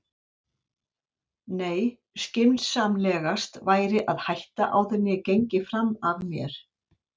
Nei, skynsamlegast var að hætta áður en ég gengi fram af mér.